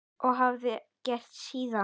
Og hafa ekki gert síðan.